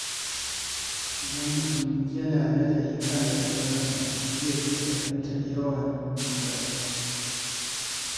Idan mutum yana nazari kan rayuwarsa, zai iya fahimtar yawan ƙoƙarinsa.